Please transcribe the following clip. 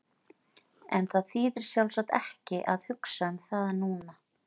En það þýðir sjálfsagt ekki að hugsa um það núna.